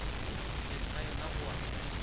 teng ga yona go a